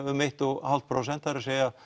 um eitt og hálft prósent það er